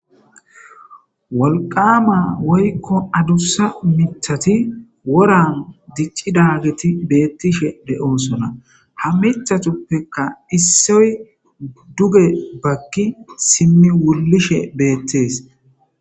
Wolqama woykko adussa mithati woran diccidagiti beettishe de7oosona ha mithatuppekka issoy duge bakki simmi wullishe beettees